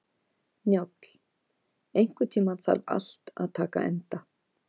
Njáll, einhvern tímann þarf allt að taka enda.